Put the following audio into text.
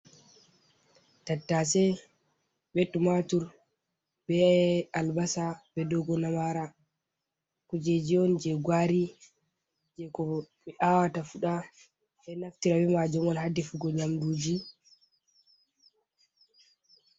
Tattase, be matur, be albasa, be dogo namara. kujeji on je gwari je ko ɓe awata fuɗa, ɓeɗo naftira be majum on hadefugo nyamduji.